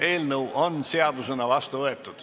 Eelnõu on seadusena vastu võetud.